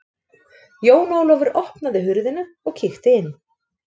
Jón Ólafur opnaði hurðina og kíkti inn.